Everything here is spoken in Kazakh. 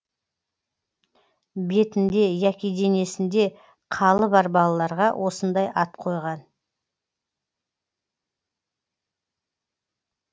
бетінде яки денесінде қалы бар балаларға осындай ат қойған